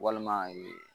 Walima